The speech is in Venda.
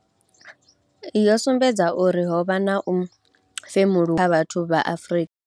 yo sumbedza uri ho vha na u femuluwa kha vhathu vha Afrika.